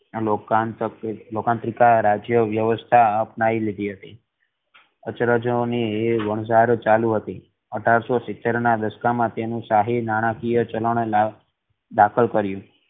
લોકાંતકં લોકંટ્રીક રાજ્ય વ્યવસ્થા અપનાઈ લીધી હતી અચરજોની વણઝાર ચાલુ હતી અઢારસો સીતેર ના દસ્તા મા તેનું શાહી નાણાકીય ચલણ દાખલ કર્યું